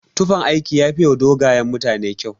Tufan aiki yafiwa dogayen mutane kyau.